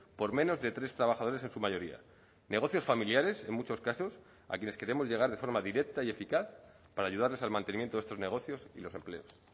por menos de tres trabajadores en su mayoría negocios familiares en muchos casos a quienes queremos llegar de forma directa y eficaz para ayudarles al mantenimiento de estos negocios y los empleos